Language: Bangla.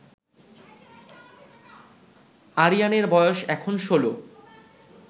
আরিয়ানের বয়স এখন ১৬